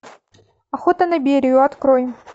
охота на берию открой